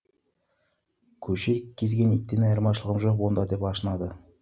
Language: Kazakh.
көше кезген иттен айырмашылым жоқ онда деп ашынады